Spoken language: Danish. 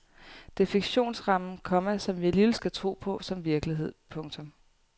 Det er fiktionsrammen, komma som vi alligevel skal tro på som virkelighed. punktum